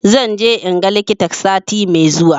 Zan je in ga likita sati mai zuwa